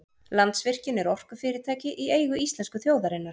Landsvirkjun er orkufyrirtæki í eigu íslensku þjóðarinnar.